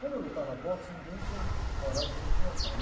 Como eu lutava boxe, ninguém tinha coragem de me enfrentar, e